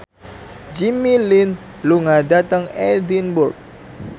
Jimmy Lin lunga dhateng Edinburgh